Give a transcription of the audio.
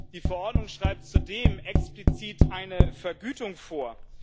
Die Verordnung schreibt zudem explizit eine Vergütung vor.